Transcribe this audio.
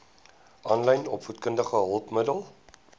aanlyn opvoedkundige hulpmiddele